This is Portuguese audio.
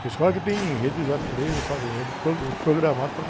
Tem escola que tem enredo, já três ou quatro enredos pro, uh, programados, porque